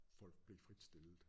Folk blev fritstillet